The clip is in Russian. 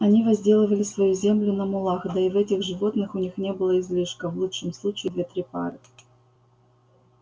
они возделывали свою землю на мулах да и в этих животных у них не было излишка в лучшем случае две-три пары